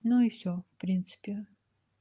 ну и всё в принципе